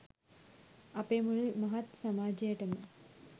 අපේ මුළු මහත් සමාජයටම